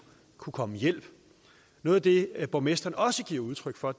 komme hjælp noget af det borgmesteren også gav udtryk for